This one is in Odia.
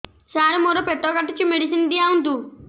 ସାର ମୋର ପେଟ କାଟୁଚି ମେଡିସିନ ଦିଆଉନ୍ତୁ